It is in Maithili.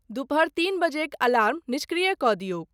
दुपहर तीन बजेक अलार्म निष्क्रिय क' दियौक।